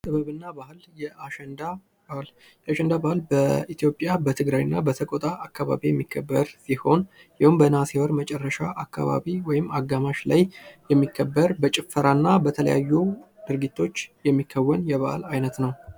ጥበብ እና ባህል፦ የአሸንዳ ባህል በኢትዮጵያ በትግራይ እና በሰቆጣ አካባቢ የሚከበር ስሆን የሄዉም በነሀሴ ወር መጨረሻ አካባቢ ወይም አጋማሽ ላይ የሚከበር በጭፈራና በተለያዩ ድርጊቶች የሚከዎን የበአል አይነት ነው።